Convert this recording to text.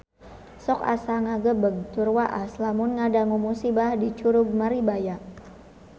Sok asa ngagebeg tur waas lamun ngadangu musibah di Curug Maribaya